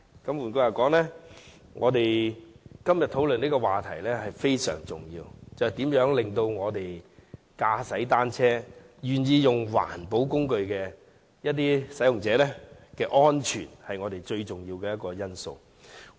換句話說，我們今天討論的議題非常重要，就是如何保障使用單車這種環保交通工具的人士的安全，這是我們要考慮的最重要因素。